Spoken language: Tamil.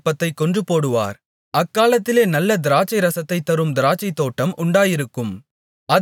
அக்காலத்திலே நல்ல திராட்சைரசத்தைத் தரும் திராட்சைத்தோட்டம் உண்டாயிருக்கும் அதைக் குறித்துப் பாடுங்கள்